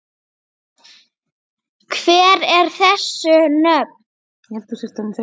Hver eru þessu nöfn?